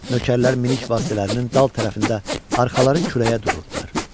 Nökərlər minik vasitələrinin dal tərəfində arxaları küləyə dururdular.